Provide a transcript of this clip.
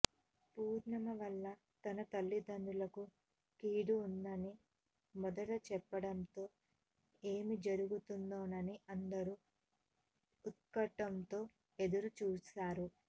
పూర్ణిమ వల్ల తన తల్లిదండ్రులకు కీడు ఉందని మొదట చెప్పడంతో ఏమి జరుగుతుందోనని అందరూ ఉత్కంఠతో ఎదురు చూసారు